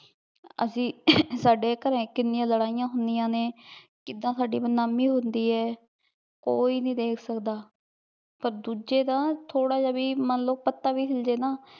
ਅਸੀਂ ਸਾਡੇ ਘਰੇ ਕਿਨ੍ਨਿਯਾਂ ਲਾਰੈਯਾਂ ਹੁੰਦੀਯ੍ਤਾਂ ਨੇ ਕਿਦਾਂ ਸਾਡੀ ਬਦਨਾਮੀ ਹੁੰਦੀ ਆਯ ਕੋਈ ਨਹੀ ਦੇਖ ਸਕਦਾ ਪਰ ਦੋਜਯ ਦਾ ਥੋਰਾ ਜੇਯ ਮਨ ਲੋ ਬੀ ਪਤਾ ਵੀ ਹਿਲ ਜੇ ਨਾ